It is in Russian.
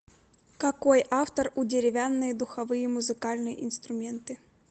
какой автор у деревянные духовые музыкальные инструменты